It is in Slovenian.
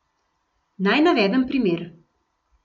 Naj navedem primer.